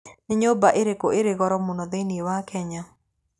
Nĩ nyũmba ĩrĩkũ ĩrĩ igũrũ mũno thĩinĩ wa Kenya?